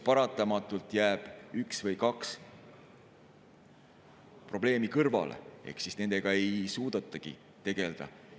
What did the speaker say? Paratamatult jääb üks probleem või kaks probleemi kõrvale ehk nendega ei suudetagi tegeleda.